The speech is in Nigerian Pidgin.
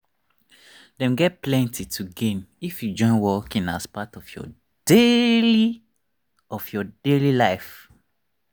them get plenty to gain if you join walking as part of your daily of your daily life.